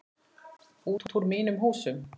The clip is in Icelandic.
Út úr mínum húsum!